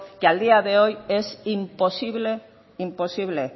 que a día de hoy es imposible imposible